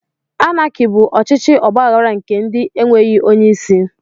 Anaki bụ ọchịchị ọgbaghara nke ndi e nweghị onye isi